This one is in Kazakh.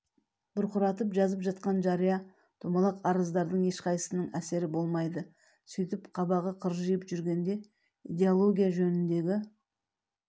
бұрқыратып жазып жатқан жария домалақ арыздардың ешқайсысының әсері болмайды сөйтіп қабағы қыржиып жүргенде идеология жөніндегі